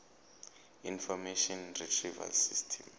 information retrieval system